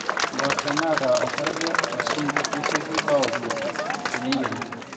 impoosho naata osarge o zinc nesioki aaoku teneyieri